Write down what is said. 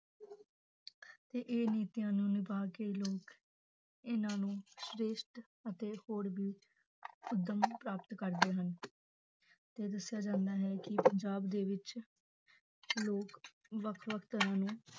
ਤੇ ਇਹ ਨੀਤੀਆਂ ਨੂੰ ਨਿਭਾ ਕੇ ਲੋਕ ਇਹਨਾਂ ਨੂੰ ਸ੍ਰੇਸ਼ਟ ਅਤੇ ਹੋਰ ਵੀ ਉੱਦਮ ਪ੍ਰਾਪਤ ਕਰਦੇ ਹਨ, ਤੇ ਦੱਸਿਆ ਜਾਂਦਾ ਹੈ ਕਿ ਪੰਜਾਬ ਦੇ ਵਿੱਚ ਲੋਕ ਵੱਖ ਵੱਖ ਤਰ੍ਹਾਂ ਦੇ